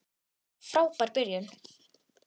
Frábær byrjun.